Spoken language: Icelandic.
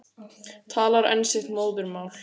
Talar enn sitt móðurmál.